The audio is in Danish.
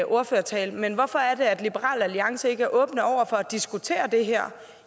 ordførertale men hvorfor er det at liberal alliance ikke er åben for at diskutere det her